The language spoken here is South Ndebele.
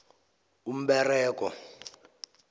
umberego